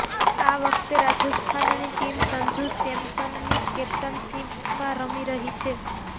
આ વખતે રાજસ્થાનની ટીમ સંજુ સેમસનની કેપ્ટનશીપમાં રમી રહી છે